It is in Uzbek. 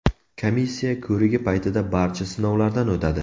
Komissiya ko‘rigi paytida barcha sinovlardan o‘tadi.